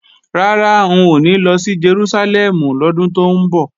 Rárá, n ò ní lọ sí Jerúsálẹ́mù lọ́dún tó ń bọ̀